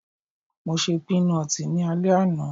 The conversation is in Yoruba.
Mo ṣe pínọtì ní alẹ́ àná